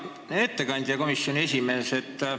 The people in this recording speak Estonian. Hea ettekandja, komisjoni esimees!